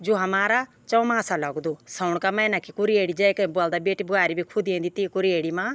जू हमारा चौमासा लगदु सौंण का मैना की कुरेडी जैक ब्वलदा बेटी ब्वारी भी खुदेंदी तीं कुरयेड़ी मा।